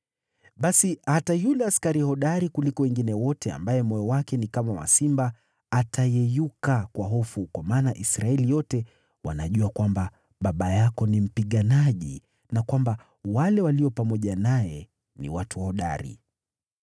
Basi hata yule askari hodari kuliko wengine wote, ambaye moyo wake ni kama wa simba, atayeyuka kwa hofu, kwa maana Israeli yote wanajua kwamba baba yako ni mpiganaji na kwamba wale walio pamoja naye ni watu hodari.